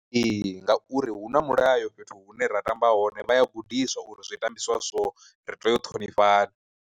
Ee ngauri hu na mulayo fhethu hune ra tamba hone, vha ya gudiswa uri zwi tambiswa so ri tea u ṱhonifhana.